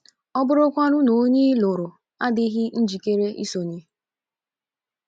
ọ bụrụkwanụ na onye ị lụrụ adịghị njikere isonye?